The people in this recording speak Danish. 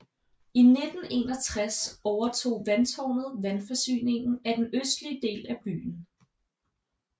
I 1961 overtog vandtårnet vandforsyningen af den østlige del af byen